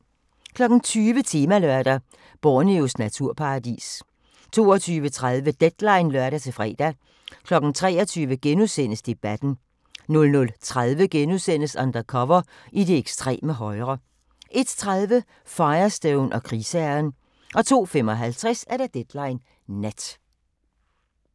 20:00: Temalørdag: Borneos naturparadis 22:30: Deadline (lør-fre) 23:00: Debatten * 00:30: Undercover i det ekstreme højre * 01:30: Firestone og krigsherren 02:55: Deadline Nat